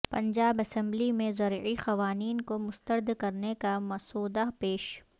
Punjab assembly میں زرعی قوانین کو مسترد کرنے کا مسودہ پیش